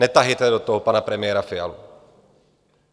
Netahejte do toho pana premiéra Fialu.